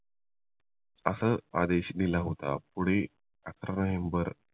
असा आदेश दिला होतं पुढे अकरा नोव्हेंबर